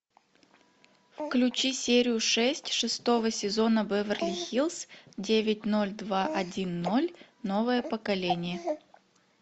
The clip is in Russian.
включи серию шесть шестого сезона беверли хиллз девять ноль два один ноль новое поколение